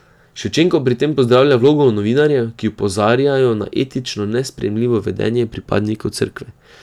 Ševčenko pri tem pozdravlja vlogo novinarjev, ki opozarjajo na etično nesprejemljivo vedenje pripadnikov Cerkve.